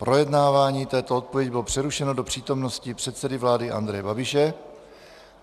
Projednávání této odpovědi bylo přerušeno do přítomnosti předsedy vlády Andreje Babiše.